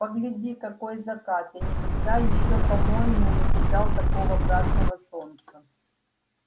погляди какой закат я никогда ещё по-моему не видал такого красного солнца